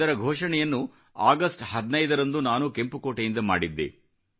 ಇದರ ಘೋಷಣೆಯನ್ನು ಅಗಸ್ಟ 15 ರಂದು ನಾನು ಕೆಂಪುಕೋಟೆಯಿಂದ ಮಾಡಿದ್ದೆ